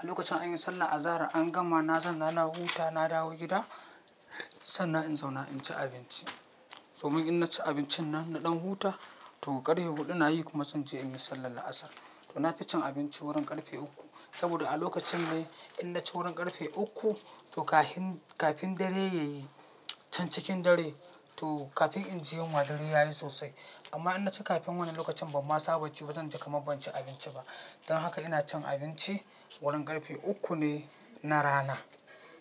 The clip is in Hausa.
A lokacin an yi sallah azahar an gama na zanna na wuta na dawo gida sannan in zauna in ci abinci. To mun in naci abincin nan na ɗan huta to ƙarfe huɗu na yi kuma san je in yi sallar la'asar. To na fi cin abinci wurin ƙarfe uku saboda a lokacin ne in naci wurin ƙarfe uku to kafin, kafin dare ya yi can cikin dare to kafin in ji yunwa dare ya yi sosai. Amma in naci kafin wannan lokacin ban ma saba ci ba zan ji kamar ban ci abinci ba. Don haka ina cin abinci wurin ƙarfe uku ne na rana.